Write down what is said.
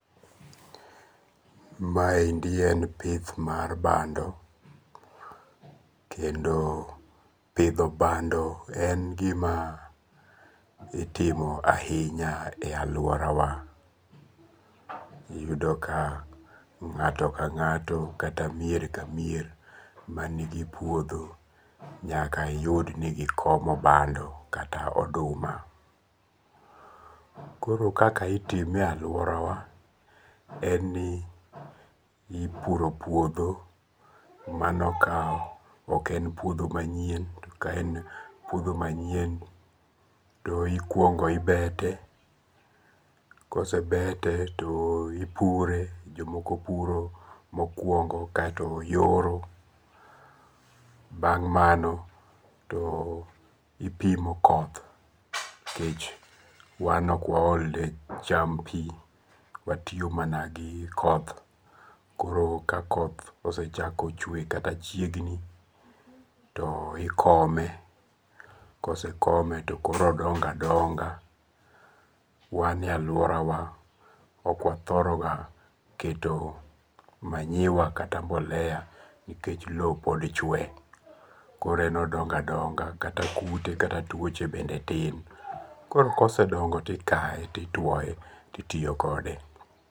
Maendi en pith mar bando. Kendo pidho bando en gima itimo ahinya e alworawa. Iyudo ka ngáto ka ngáto kata mier ka mier man nigi puodho nyaka iyud ni gikomo bando kata oduma. Koro kaka itime e alworawa, en ni ipuro puodho mano ka ok en puodho manyien. To ka en puodho manyien to ikwongo ibete. Ka osebete to ipure. Jomoko puro mokwongo kaeto yoro. Bang' mano to ipimo koth, nikech wan okwaol ne cham pi, watiyo mana gi koth. Koro ka koth osechako chwe kata chiegni, to ikome. Kosekome to koro odongo adonga. Wan e alworawa okwathoro ga keto manyiwa, kata mbolea nikech lowo pod chwe. Koro en odongo a donga kata kute kata twoche bende tin. Koro kosedongo to ikae, to itwoe, to itiyo kode.